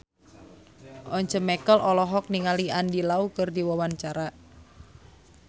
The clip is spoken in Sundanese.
Once Mekel olohok ningali Andy Lau keur diwawancara